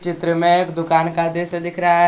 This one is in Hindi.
चित्र में एक दुकान का दृश्य दिख रहा है।